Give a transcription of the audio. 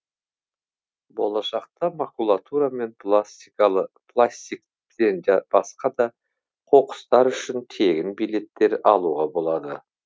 болашақта макулатура мен пластиктен басқа да қоқыстар үшін тегін билеттер алуға болады